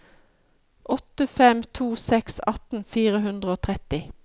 åtte fem to seks atten fire hundre og tretti